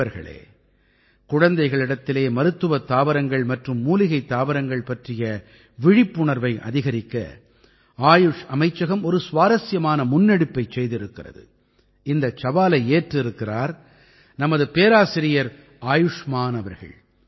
நண்பர்களே குழந்தைகளிடத்திலே மருத்துவத் தாவரங்கள் மற்றும் மூலிகைத் தாவரங்கள் பற்றிய விழிப்புணர்வை அதிகரிக்க ஆயுஷ் அமைச்சகம் ஒரு சுவாரசியமான முன்னெடுப்பைச் செய்திருக்கிறது இந்தச் சவாலை ஏற்றிருக்கிறார் நமது பேராசிரியர் ஆயுஷ்மான் அவர்கள்